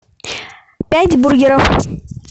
пять бургеров